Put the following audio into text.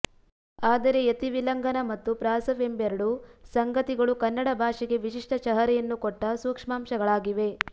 ಆದರೆ ಯತಿವಿಲಂಘನ ಮತ್ತು ಪ್ರಾಸವೆಂಬೆರಡು ಸಂಗತಿಗಳು ಕನ್ನಡ ಭಾಷೆಗೆ ವಿಶಿಷ್ಟ ಚಹರೆಯನ್ನು ಕೊಟ್ಟ ಸೂಕ್ಷ್ಮಾಂಶಗಳಾಗಿವೆ